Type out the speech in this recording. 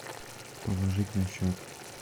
положить на счет